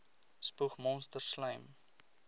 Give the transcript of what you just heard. spoeg monsters slym